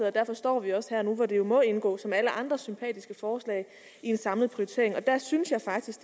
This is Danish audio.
og derfor står vi også her nu hvor det jo må indgå som alle andre sympatiske forslag i en samlet prioritering og der synes jeg faktisk